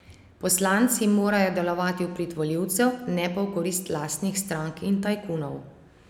Poslanci morajo delovati v prid volilcev, ne pa v korist lastnih strank in tajkunov.